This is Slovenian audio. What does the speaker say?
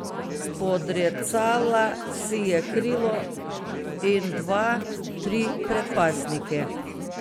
Spodrecala si je krilo in dva, tri predpasnike.